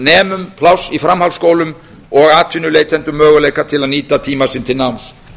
nemum pláss í framhaldsskólum og atvinnuleitendum möguleika til að nýta tíma sinn til náms